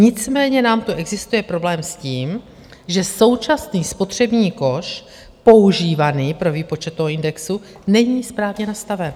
Nicméně nám tu existuje problém s tím, že současný spotřební koš používaný pro výpočet toho indexu není správně nastaven.